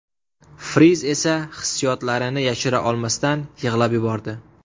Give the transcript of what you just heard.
Friz esa hissiyotlarini yashira olmasdan, yig‘lab yubordi.